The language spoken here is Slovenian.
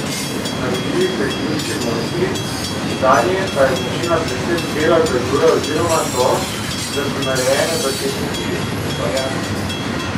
Naredili so jih ljudski mojstri, zanje pa je značilna predvsem bela glazura oziroma to, da so narejene v tehniki fajanse.